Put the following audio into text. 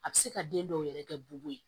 A bɛ se ka den dɔw yɛrɛ kɛ bu ye